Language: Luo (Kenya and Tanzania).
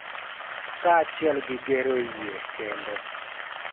Kaachiel gi gero yie kendo, .